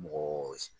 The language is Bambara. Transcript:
Mɔgɔ